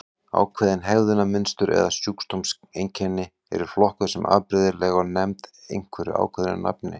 Ákveðin hegðunarmynstur eða sjúkdómseinkenni eru flokkuð sem afbrigðileg og nefnd einhverju ákveðnu nafni.